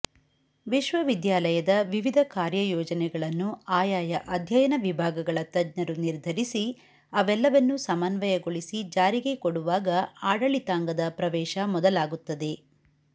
ವಿಶ್ವವಿದ್ಯಾಲಯದ ವಿವಿಧ ಕಾರ್ಯಯೋಜನೆಗಳನ್ನು ಆಯಾಯ ಅಧ್ಯಯನ ವಿಭಾಗಗಳ ತಜ್ಞರು ನಿರ್ಧರಿಸಿ ಅವೆಲ್ಲವನ್ನು ಸಮನ್ವಯಗೊಳಿಸಿ ಜಾರಿಗೆ ಕೊಡುವಾಗ ಆಡಳಿತಾಂಗದ ಪ್ರವೇಶ ಮೊದಲಾಗುತ್ತದೆ